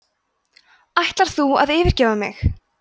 ætlar þú að yfirgefa mig